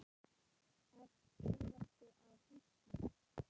Ert þú nokkuð á hausnum?